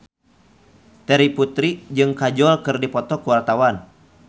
Terry Putri jeung Kajol keur dipoto ku wartawan